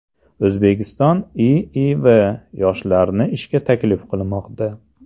O‘zbekiston IIV yoshlarni ishga taklif qilmoqda.